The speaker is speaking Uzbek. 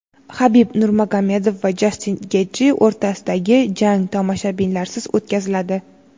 Habib Nurmagomedov va Jastin Getji o‘rtasidagi jang tomoshabinlarsiz o‘tkaziladi.